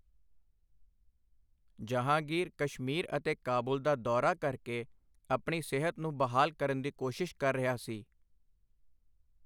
ਜਹਾਂਗੀਰ ਕਸ਼ਮੀਰ ਅਤੇ ਕਾਬੁਲ ਦਾ ਦੌਰਾ ਕਰਕੇ ਆਪਣੀ ਸਿਹਤ ਨੂੰ ਬਹਾਲ ਕਰਨ ਦੀ ਕੋਸ਼ਿਸ਼ ਕਰ ਰਿਹਾ ਸੀ।